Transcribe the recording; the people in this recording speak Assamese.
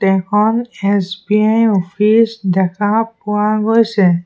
এখন এছ_বি_আই অফিচ দেখা পোৱা গৈছে।